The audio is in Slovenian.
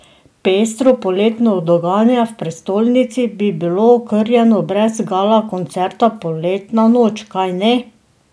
Pestro poletno dogajanje v prestolnici bi bilo okrnjeno brez gala koncerta Poletna noč, kajne?